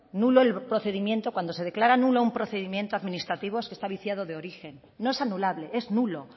nulo el procedimiento cuando se declara nulo un procedimiento administrativo es que está viciado de origen no es anulable es nulo